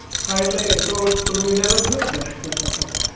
હા એતો એટલે two wheeler જ થયું ને